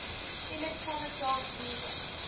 electronic dance music